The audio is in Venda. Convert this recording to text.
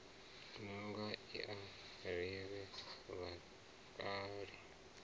ṋanga i a ri vhakale